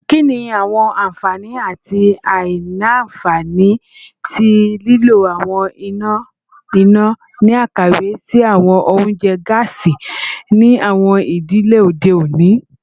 Kini awọn anfani ati aila-nfani ti lilo awọn ina ina ni akawe si awọn ounjẹ gaasi ni awọn idile ode oni?